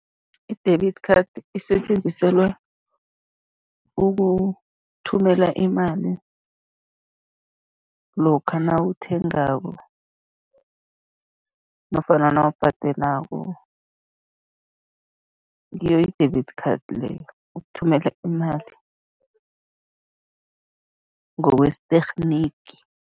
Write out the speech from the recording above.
I-debit card isetjenziselwa ukuthumela imali lokha nawuthengako nofana nawubhadelako, ngiyo i-debit card leyo, ukuthumela imali ngokwesithekniki.